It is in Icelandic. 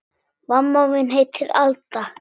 Mamma mín heitir Alda.